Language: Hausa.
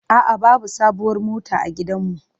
A'a, babu sabuwar mota a gidanmu.